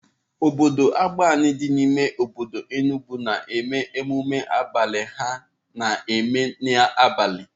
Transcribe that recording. Obodo Agbani dị n'ime obodo Enugwu na-eme emume abalị ha na-eme n'abalị.